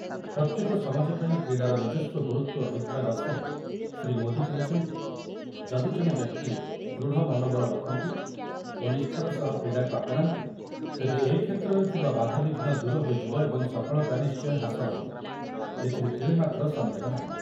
ପ୍ରତ୍ୟେକ ସମାଜ ପାଇଁ କ୍ରୀଡ଼ାର ନିଜସ୍ୱ ଗୁରୁତ୍ୱ ରହିଥିବା ଦର୍ଶାଇ ଶ୍ରୀଯୁକ୍ତ ମୋଦି କହିଛନ୍ତି, ଯଦି ଜଣେ ବ୍ୟକ୍ତି ଦୃଢ଼ ମନୋବଳ ରଖନ୍ତି ଓ ନିଷ୍ଠାର ସହ କ୍ରୀଡ଼ାକୁ ଆପଣାନ୍ତି, ତେବେ ଏ କ୍ଷେତ୍ରରେ ଥିବା ବାଧାବିଘ୍ନ ଦୂର ହୋଇଯିବ ଏବଂ ସଫଳତା ନିଶ୍ଚୟ ହାସଲ ହେବ, ଏଥିରେ ତିଳେମାତ୍ର ସଂଦେହ ନାହିଁ ।